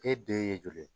E den ye joli ye